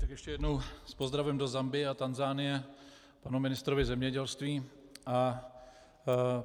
Tak ještě jednou s pozdravem do Zambie a Tanzanie panu ministrovi zemědělství.